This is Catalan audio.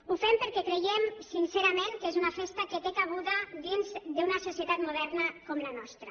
ho fem perquè creiem sincerament que és una festa que té cabuda dins d’una societat moderna com la nostra